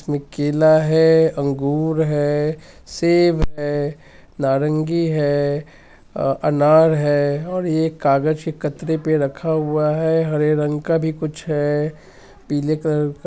केला हेै अंगूर हेै सेब हेै नारंगी हें अ अनार हेै और ये कागज के कतरे पे रखा हुवा है| हरे रंग का भी कुछ है पीले कलर का |